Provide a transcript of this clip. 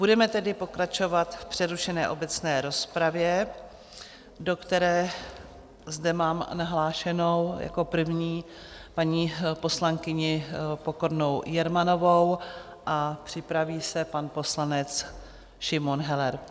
Budeme tedy pokračovat v přerušené obecné rozpravě, do které zde mám nahlášenou jako první paní poslankyni Pokornou Jermanovou, a připraví se pan poslanec Šimon Heller.